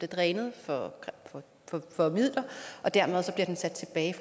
drænet for midler og dermed bliver sat tilbage